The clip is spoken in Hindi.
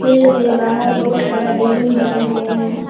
फील्ड के बाहर बहुत बड़ा बिल्डिंग बनाया गया है।